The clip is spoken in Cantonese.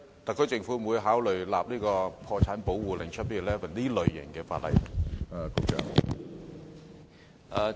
特區政府會否考慮訂立類似破產保護令的法例呢？